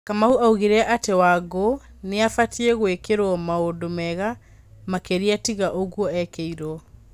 Kamau augire atĩ Wangũkũnĩabatiĩ gwĩkĩrwo maũndũmega makĩria tiga ũgwo ekĩirwo.